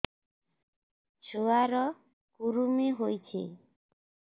ଛୁଆ ର କୁରୁମି ହୋଇଛି